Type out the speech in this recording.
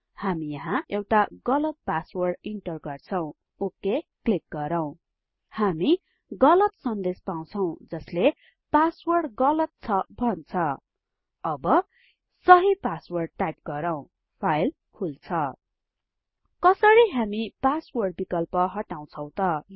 हामी यहाँ एउटा गलत पासवर्ड इन्टर गर्छौं ओ के क्लिक गरौँ हामी गलत सन्देश पाउछौं जसले पासवर्ड गलत छ भन्छ अब सहि पासवर्ड टाइप गरौँ फाइल खुल्छ कसरी हामी पासवर्ड विकल्प हटाउछौं त